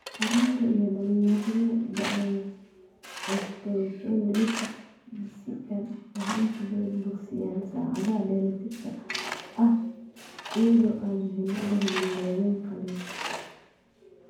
Carruurta iyo dhalinyarada da'da yar, osteochondritis dissecans waxay inta badan bogsiiyaan saacadaha dheeraadka ah iyada oo aan la helin daaweyn qalliin.